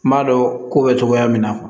N b'a dɔn ko bɛ cogoya min na